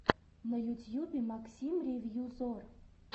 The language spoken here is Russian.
на ютьюбе максим ревью зор